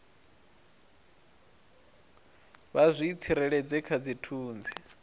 vha zwi tsireledze kha dzithunzi